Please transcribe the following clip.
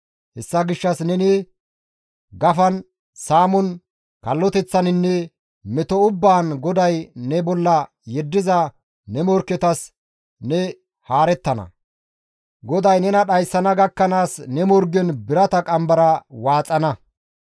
Hessa gishshas neni gafan, saamon, kalloteththaninne meto ubbaan GODAY ne bolla yeddiza ne morkketas ne haarettana; GODAY nena dhayssana gakkanaas ne morgen birata qambara waaxana.